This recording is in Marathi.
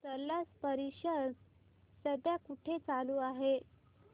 स्लश परिषद सध्या कुठे चालू आहे